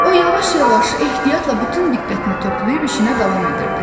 O yavaş-yavaş ehtiyatla bütün diqqətini toplayıb işinə davam edirdi.